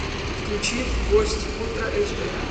включи гость ультра эйч ди